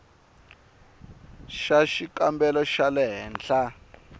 xa xikambelo xa le henhla